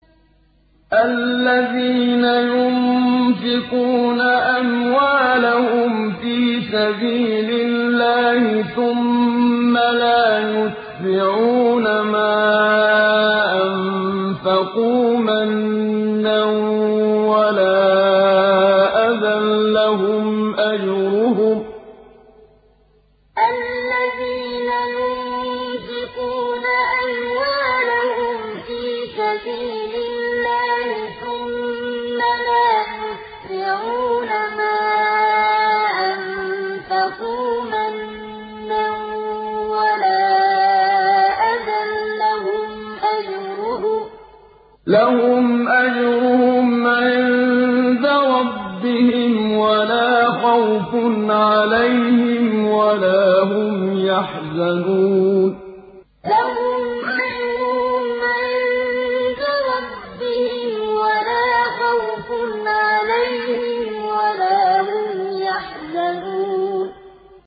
الَّذِينَ يُنفِقُونَ أَمْوَالَهُمْ فِي سَبِيلِ اللَّهِ ثُمَّ لَا يُتْبِعُونَ مَا أَنفَقُوا مَنًّا وَلَا أَذًى ۙ لَّهُمْ أَجْرُهُمْ عِندَ رَبِّهِمْ وَلَا خَوْفٌ عَلَيْهِمْ وَلَا هُمْ يَحْزَنُونَ الَّذِينَ يُنفِقُونَ أَمْوَالَهُمْ فِي سَبِيلِ اللَّهِ ثُمَّ لَا يُتْبِعُونَ مَا أَنفَقُوا مَنًّا وَلَا أَذًى ۙ لَّهُمْ أَجْرُهُمْ عِندَ رَبِّهِمْ وَلَا خَوْفٌ عَلَيْهِمْ وَلَا هُمْ يَحْزَنُونَ